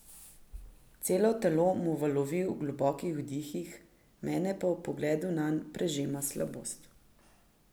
Celo telo mu valovi v globokih vdihih, mene pa ob pogledu nanj prežema slabost.